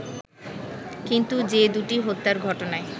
কিন্তু যে দুটি হত্যার ঘটনায়